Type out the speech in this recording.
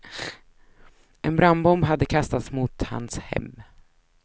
En brandbomb hade kastats mot hans hem.